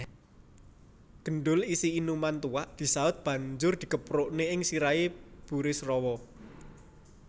Gendul isi inuman tuak disaut banjur dikeprukaké ing sirahé Burisrawa